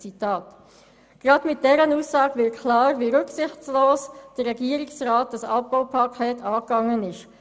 Gerade mit dieser Aussage wird klar, wie rücksichtslos der Regierungsrat das Abbaupaket angegangen ist.